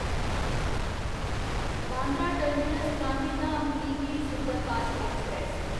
Bandra terminus Gandhidham weekly superfast express